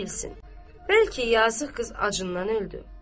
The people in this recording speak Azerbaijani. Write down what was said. Kim bilsin, bəlkə yazıq qız acından öldü.